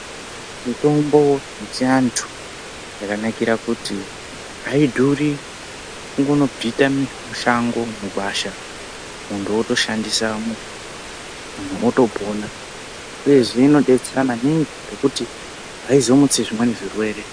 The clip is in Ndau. Mitombo yechi andu yakanakira kuti aidhuri kungono bvita mishango mugwasha muntu woto shandisa muntu woto pona uyezve ino betsera maningi ngekuti aizo mutsi zvimweni zvirwere.